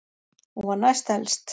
Hún var næst elst.